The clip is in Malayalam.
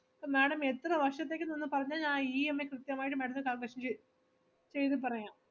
ഇപ്പൊ madam എത്ര വർഷത്തേക്കെന്ന് ഒന്ന് പറഞ്ഞാൽ ഞാൻ EMI കൃത്യം ആയിട്ട് madam ത്തിന് calculation ചെ~ ചെയ്തു പറയാം.